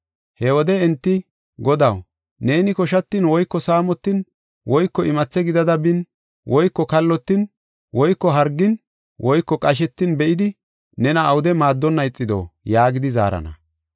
“He wode enti, ‘Godaw, neeni koshatin woyko saamotin woyko imathe gidada bin woyko kallotin woyko hargin woyko qashetin be7idi nena awude maaddonna ixido?’ yaagidi zaarana.